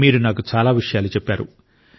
మీరు నాకు చాలా విషయాలు చెప్పారు